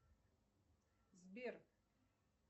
сбер